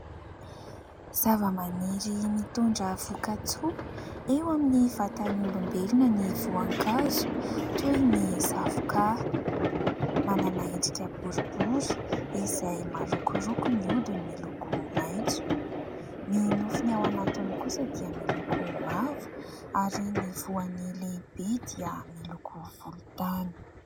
Zavamaniry mitondra vokatsoa eo amin'ny vatan'ny olombelona ny voankazo, toy ny zavoka. Manana endrika boribory izay marokoroko, ny hodiny miloko maitso ; ny nofony ao anatiny kosa dia miloko mavo, ary ny voany lehibe dia miloko volontany.